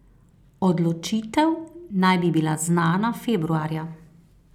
Odločitev naj bi bila znana februarja.